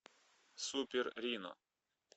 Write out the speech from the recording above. супер рино